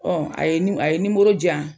a ye ni a ye nimoro di yan